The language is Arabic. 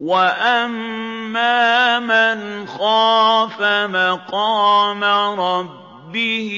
وَأَمَّا مَنْ خَافَ مَقَامَ رَبِّهِ